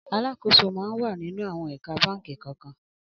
Alàkósó mà n wà ninú áwòn ékà bànkí kàn kàn